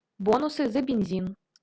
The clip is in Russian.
бонусы за бензин